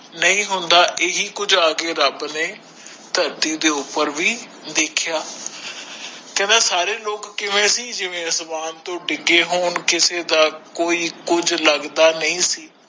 ਨਹੀਂ ਹੁੰਦਾ ਏਹ ਕੁਛ ਆਕੇ ਰਬ ਨੇ ਧਰਤੀ ਦੇ ਉਪਰ ਵੀ ਦੇਖਿਆ ਸਾਰੇ ਲੋਕ ਕਿਵੇਂ ਸੀ ਜਿਵੇ ਅਸਮਾਨ ਤੋਂ ਡਿਗੇ ਹੋਣ ਕਿਸੇ ਦਾ ਕੋਈ ਕੁਛ ਲਗਦਾ ਨਹੀਂ ਸੀ